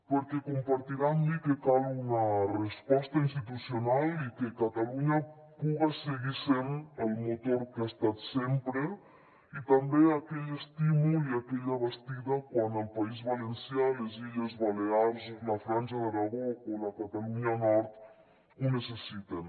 perquè compartirà amb mi que cal una resposta institucional i que catalunya puga seguir sent el motor que ha estat sempre i també aquell estímul i aquella bastida quan el país valencià les illes balears la franja d’aragó o la catalunya nord ho necessiten